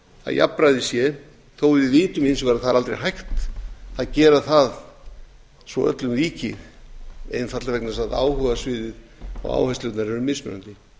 að jafnræði sé þótt við vitum hins vegar að það er aldrei hægt að gera það svo öllum líki einfaldlega vegna þess að áhugasvið og áherslurnar eru mismunandi